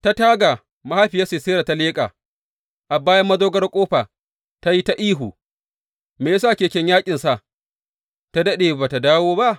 Ta taga mahaifiyar Sisera ta leƙa; a bayan madogarar ƙofa ta yi ta ihu, Me ya sa keken yaƙinsa ta daɗe ba tă dawo ba?